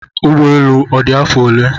Ụgbọelu a odi afọ ole?